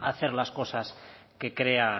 hacer las cosas que crea